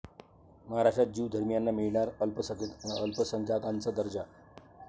महाराष्ट्रात ज्यू धर्मियांना मिळणार अल्पसंख्याकांचा दर्जा